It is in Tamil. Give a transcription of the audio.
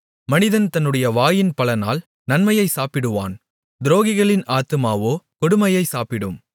மனிதன் தன்னுடைய வாயின் பலனால் நன்மையைச் சாப்பிடுவான் துரோகிகளின் ஆத்துமாவோ கொடுமையை சாப்பிடும்